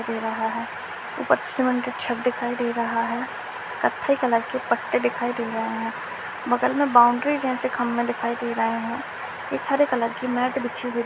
दे रहा है ऊपर से छत दिखाई दे रहा है | कत्थे कलर के पत्ते दिखाई रहे हैं | बगल में बॉउंड्री जैसी खम्भे दिखाई दे रहे हैं | एक हरे कलर की मेट बिछी हुई --|